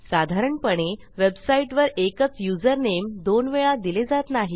साधारणपणे वेबसाईटवर एकच युजरनेम दोन वेळा दिले जात नाही